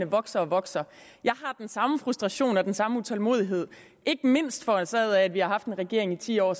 vokser og vokser jeg har den samme frustration og den samme utålmodighed ikke mindst forårsaget af at vi har haft en regering i ti år